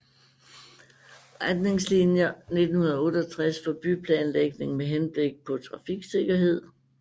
Retningsliner 1968 for byplanlægning med henblik på trafiksikkerhed